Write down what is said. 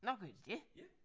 Nåh gør de det